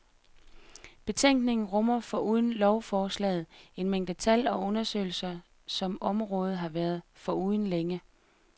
Betænkningen rummer, foruden lovforslaget, en mængde tal og undersøgelser, som området har været foruden længe.